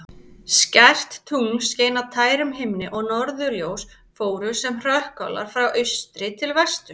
Skært tungl skein á tærum himni og norðurljós fóru sem hrökkálar frá austri til vesturs.